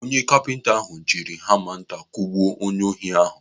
Onye kapinta ahụ jiri hama nta kugbuo onye ohi ahụ.